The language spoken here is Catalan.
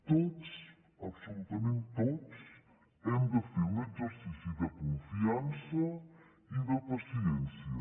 tots absolutament tots hem de fer un exercici de confiança i de paciència